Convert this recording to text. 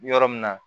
Yɔrɔ min na